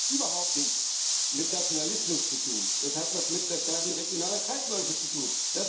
Das hat überhaupt nichts mit Nationalismus zu tun, das hat etwas mit der Stärkung regionaler Kreisläufe zu tun.